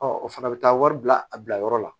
o fana bɛ taa wari bila a bilayɔrɔ la